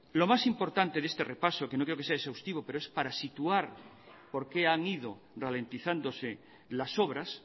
lo más importante de este repaso que no quiero que sea exhaustivo pero es para situar por qué han ido ralentizándose las obras